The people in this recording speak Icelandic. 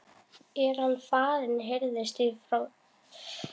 er hann farinn? heyrðist frá Tóta.